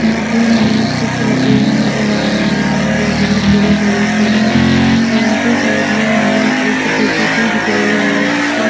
यहा पर हमे कुछ लकडिया नजर आ रही है जो बहोत बड़ी बड़ी सी है और उनकी साइड में हमे एक ज्सीबी दिख रही है जिसका--